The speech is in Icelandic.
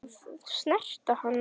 Að snerta hana.